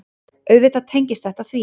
Auðvitað tengist þetta því.